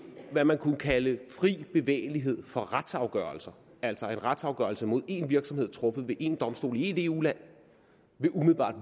hvad man kunne kalde fri bevægelighed for retsafgørelser altså at en retsafgørelse mod en virksomhed truffet ved én domstol i ét eu land umiddelbart